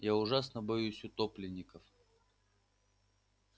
я ужасно боюсь утопленников